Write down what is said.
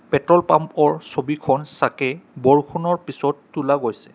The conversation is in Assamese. পেট্ৰল পাম্পৰ ছবিখন চাকে বৰষুণৰ পিছত তোলা গৈছে।